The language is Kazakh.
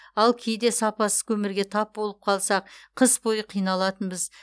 ал кейде сапасыз көмірге тап болып қалсақ қыс бойы қиналатынбыз